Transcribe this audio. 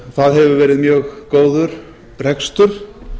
þar hefur verið mjög góður rekstur